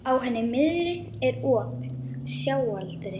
Á henni miðri er op, sjáaldrið.